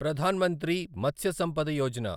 Pradhan Mantri Matsya Sampada Yojana